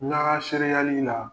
N'a ka sereyali la ,